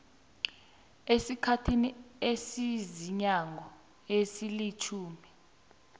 esikhathini esiziinyanga ezilitjhumi